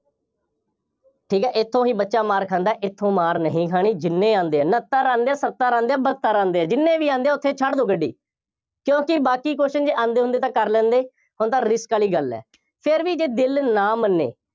ਠੀਕ ਹੈ, ਇੱਥੋਂ ਹੀ ਬੱਚਾ ਮਾਰ ਖਾਂਦਾ, ਇੱਥੋਂ ਮਾਰ ਨਹੀਂ ਖਾਣੀ ਜਿੰਨੇ ਆਉਂਦੇ ਆ, ਉਨੱਤਰ ਆਉਂਦੇ ਆ, ਸੱਤਰ ਆਉਂਦੇ ਆ, ਬਹੱਤਰ ਆਉਂਦੇ ਆ, ਜਿੰਨੇ ਵੀ ਆਉਂਦੇ ਆ, ਉੱਥੇ ਛੱਡ ਦਿਓ ਗੱਡੀ, ਕਿਉਂਕਿ ਬਾਕੀ question ਜੇ ਆਉਂਦੇ ਹੁੰਦੇ ਤਾਂ ਕਰ ਲੈਂਦੇ, ਹੁਣ ਤਾਂ risk ਵਾਲੀ ਗੱਲ ਹੈ, ਫੇਰ ਵੀ ਜੇ ਦਿਲ ਨਾ ਮੰਨੇ,